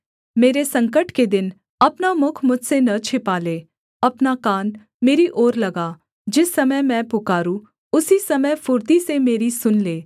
मेरे संकट के दिन अपना मुख मुझसे न छिपा ले अपना कान मेरी ओर लगा जिस समय मैं पुकारूँ उसी समय फुर्ती से मेरी सुन ले